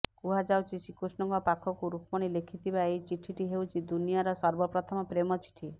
କୁହାଯାଉଛି ଶ୍ରୀକୃଷ୍ଣଙ୍କ ପାଖକୁ ରୁକ୍ମିଣୀ ଲେଖିଥିବା ଏହି ଚିଠିଟି ହେଉଛି ଦୁନିଆର ସର୍ବପ୍ରଥମ ପ୍ରେମ ଚିଠି